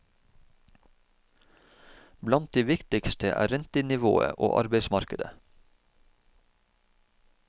Blant de viktigste er rentenivået og arbeidsmarkedet.